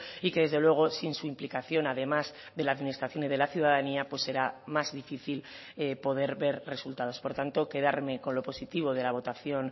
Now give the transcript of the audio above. y que desde luego sin su implicación además de la administración y de la ciudadanía pues será más difícil poder ver resultados por tanto quedarme con lo positivo de la votación